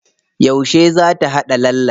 Yauce za ta haɗa lallen?